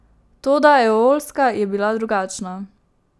Toda Eolska je bila drugačna.